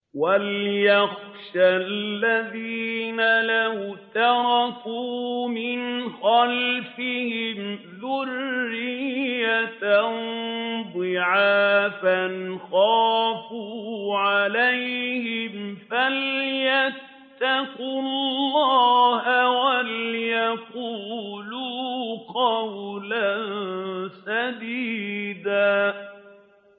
وَلْيَخْشَ الَّذِينَ لَوْ تَرَكُوا مِنْ خَلْفِهِمْ ذُرِّيَّةً ضِعَافًا خَافُوا عَلَيْهِمْ فَلْيَتَّقُوا اللَّهَ وَلْيَقُولُوا قَوْلًا سَدِيدًا